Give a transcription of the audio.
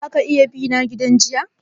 Za ka iya bina gidan giya?